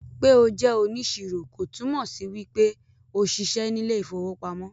pe o jẹ oniṣiro kò túmọ sí wípé o ṣiṣẹ ní ilè ìfowópamọ́